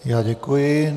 Já děkuji.